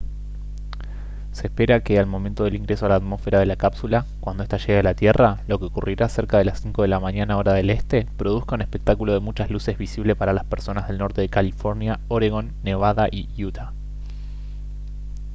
se espera que al momento del ingreso a la atmósfera de la cápsula cuando esta llegue a la tierra lo que ocurrirá cerca de las 5 de la mañana hora del este produzca un espectáculo de muchas luces visible para las personas del norte de california oregón nevada y utah